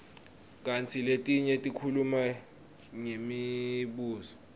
kantsi letinye tikhuluma ngemibuso